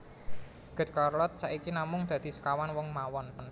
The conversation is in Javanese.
Good Charlotte saiki namung dadi sekawan wong mawon